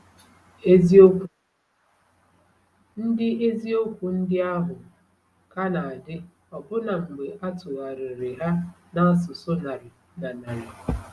Eziokwu ndị Eziokwu ndị ahụ ka na-adị ọbụna mgbe a tụgharịrị ha n’asụsụ narị na narị.